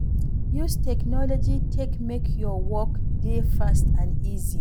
Use technology take make your work dey fast and easy